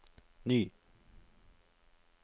ny